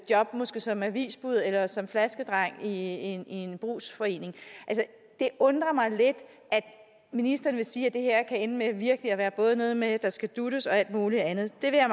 job måske som avisbud eller som flaskedreng i en en brugsforening det undrer mig lidt at ministeren vil sige at det her kan ende med virkelig at være noget med at der skal dutes og alt muligt andet det vil jeg